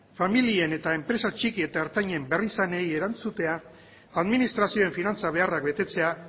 familien eta enpresa txiki eta ertainen beharrizanei erantzutea administrazioen finantza beharrak betetzea